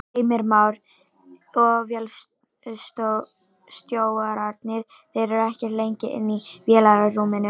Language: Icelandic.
Heimir Már: Og vélstjórarnir, þeir eru ekkert lengi inni í vélarrúminu?